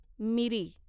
मिरी